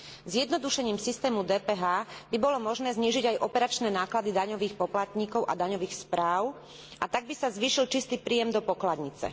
Zjednodušením systému DPH by bolo možné znížiť aj operačné náklady daňových poplatníkov a daňových správ, a tak by sa zvýšil čistý príjem do pokladnice.